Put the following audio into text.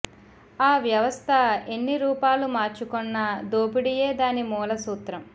ఆ వ్యవస్థ ఎన్ని రూపాలు మార్చుకొన్నా దోపిడీయే దాని మూల సూత్రం